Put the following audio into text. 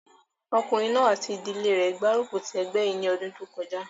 Ọkùnrin náà àti ìdílé rẹ̀ gbárùkù ti ẹgbẹ́ yìí ní ọdún kọjá